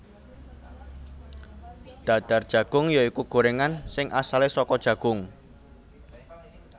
Dadar Jagung ya iku gorengan sing asale saka jagung